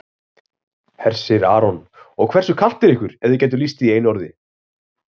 Hersir Aron: Og hversu kalt er ykkur ef þið gætuð lýst því í einu orði?